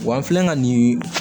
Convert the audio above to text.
Wa an filɛ ka nin